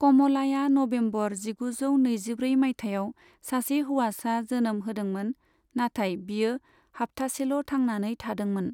कमलाया नबेम्बर जिगुजौ नैजिब्रै माइथायाव सासे हौवासा जोनोम होदोंमोन, नाथाय बियो हाफथासेल' थांनानै थादोंंमोन।